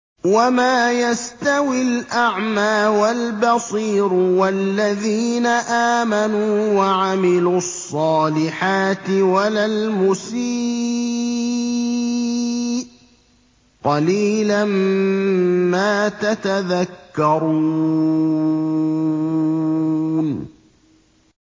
وَمَا يَسْتَوِي الْأَعْمَىٰ وَالْبَصِيرُ وَالَّذِينَ آمَنُوا وَعَمِلُوا الصَّالِحَاتِ وَلَا الْمُسِيءُ ۚ قَلِيلًا مَّا تَتَذَكَّرُونَ